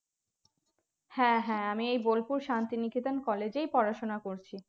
হ্যাঁ হ্যাঁ আমি এই বোলপুর শান্তিনিকেতন college এই পড়াশোনা করছি